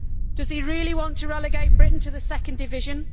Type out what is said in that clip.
Does he really want to relegate Britain to the second division?